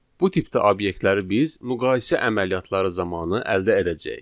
Bu tipdə obyektləri biz müqayisə əməliyyatları zamanı əldə edəcəyik.